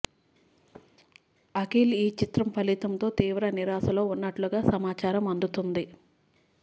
అఖిల్ ఈ చిత్రం ఫలితంతో తీవ్ర నిరాశలో ఉన్నట్లుగా సమాచారం అందుతుంది